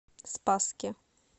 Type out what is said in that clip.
спасске